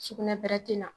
Sugunɛ bɛrɛ tɛ na